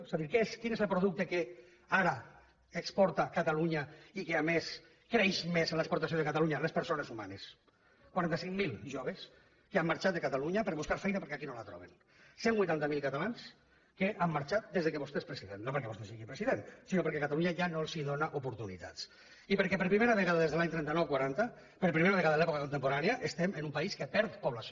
sap quin és el producte que ara exporta catalunya i que a més creix més en l’exportació de catalunya les persones humanes quaranta cinc mil joves que han marxat de catalunya per buscar feina perquè aquí no la troben cent i vuitanta miler catalans que han marxat des que vostè és president no perquè vostè sigui president sinó perquè catalunya ja no els dóna oportunitats i perquè per primera vegada des de l’any trenta nou quaranta per primera vegada en l’època contemporània estem en un país que perd població